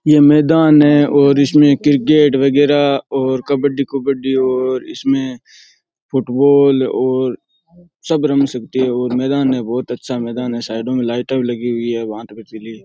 ये मैदान है और इसमें क्रिकेट वगैरा और कब्बड़ी कुबद्दी और इसमें फुटबॉल और सब रंग सकते हैं और मैदान है बहुत अच्छा मैदान है साइडां में लाईटां भी लगी हुई है भांत भतीली।